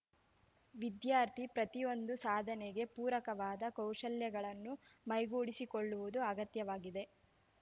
ವಿದ್ಯಾರ್ಥಿ ಪ್ರತಿಯೊಂದು ಸಾಧನೆಗೆ ಪೂರಕವಾದ ಕೌಶಲ್ಯಗಳನ್ನು ಮೈಗೂಡಿಸಿಕೊಳ್ಳುವುದು ಅಗತ್ಯವಾಗಿದೆ